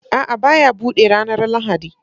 A'a, ba ya buɗe ranar Lahadi